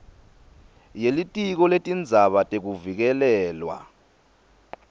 yelitiko letindzaba tekuvikelelwa